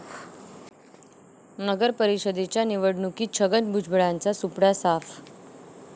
नगरपरिषदेच्या निवडणुकीत छगन भुजबळांचा सुपडा साफ